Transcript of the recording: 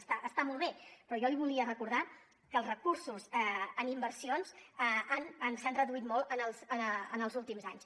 està molt bé però jo li volia recordar que els recursos en inversions s’han reduït molt en els últims anys